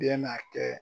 Bɛna kɛ